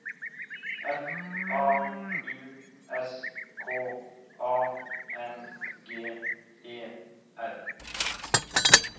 F A U S K A N G E R